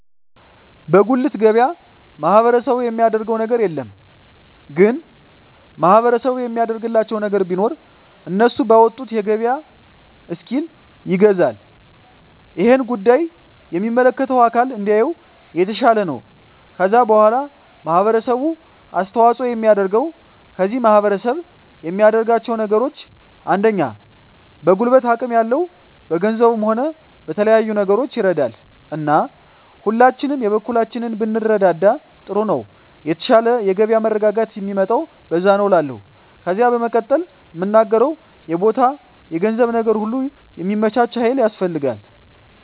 በጉልት ገበያ ማህበረሰቡ የሚያደረገው ነገር የለም ግን ማህበረሰቡ የሚያደርግላቸው ነገር ቢኖር እነሱ ባወጡት የገበያ እስኪል ይገዛል እሄን ጉዳይ የሚመለከተው አካል እንዲያየው የተሻለ ነው ከዛ በዋላ ማህበረሰቡ አስተዋጽኦ የሚያደርገው ከዚህ ማህረሰብ የሚያደርጋቸው ነገሮች አንደኛ በጉልበት አቅም ያለው በገንዘቡም ሆነ በተለያዩ ነገሮች ይረዳል እና ሁላችንም የበኩላችንን ብንረዳዳ ጥሩ ነው የተሻለ የገበያ መረጋጋት ሚመጣው በዛ ነዉ እላለሁ ከዜ በመቀጠል ምናገረው የቦታ የገንዘብ ነገር ሁሉ ሚመቻች ሀይል ያስፈልጋል